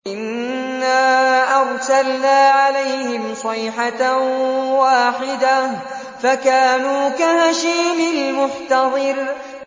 إِنَّا أَرْسَلْنَا عَلَيْهِمْ صَيْحَةً وَاحِدَةً فَكَانُوا كَهَشِيمِ الْمُحْتَظِرِ